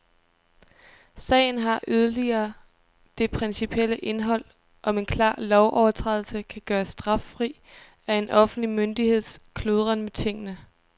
Sagen har yderligere det principielle indhold, om en klar lovovertrædelse kan gøres straffri af en offentlig myndigheds kludren med tingene.